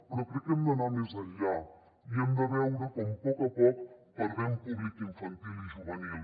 però crec que hem d’anar més enllà i hem de veure com a poc a poc perdem públic infantil i juvenil